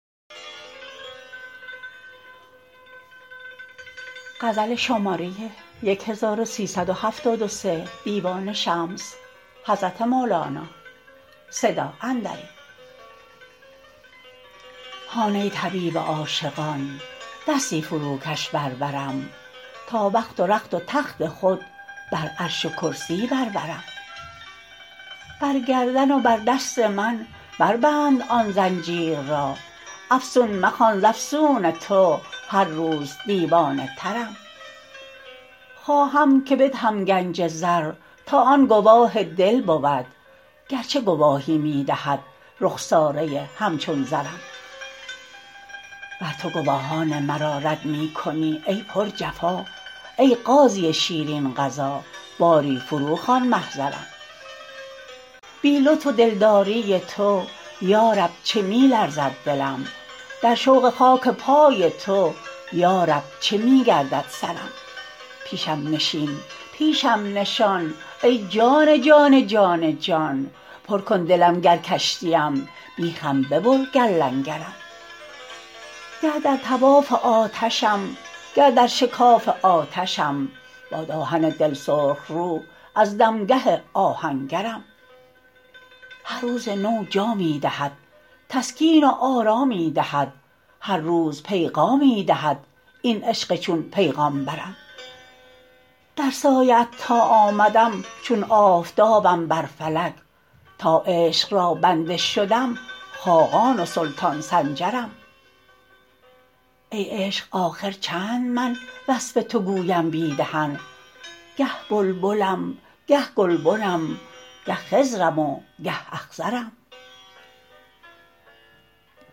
هان ای طبیب عاشقان دستی فروکش بر برم تا بخت و رخت و تخت خود بر عرش و کرسی بر برم بر گردن و بر دست من بربند آن زنجیر را افسون مخوان ز افسون تو هر روز دیوانه ترم خواهم که بدهم گنج زر تا آن گواه دل بود گرچه گواهی می دهد رخساره همچون زرم ور تو گواهان مرا رد می کنی ای پرجفا ای قاضی شیرین قضا باری فروخوان محضرم بی لطف و دلداری تو یا رب چه می لرزد دلم در شوق خاک پای تو یا رب چه می گردد سرم پیشم نشین پیشم نشان ای جان جان جان جان پر کن دلم گر کشتیم بیخم ببر گر لنگرم گه در طواف آتشم گه در شکاف آتشم باد آهن دل سرخ رو از دمگه آهنگرم هر روز نو جامی دهد تسکین و آرامی دهد هر روز پیغامی دهد این عشق چون پیغامبرم در سایه ات تا آمدم چون آفتابم بر فلک تا عشق را بنده شدم خاقان و سلطان سنجرم ای عشق آخر چند من وصف تو گویم بی دهن گه بلبلم گه گلبنم گه خضرم و گه اخضرم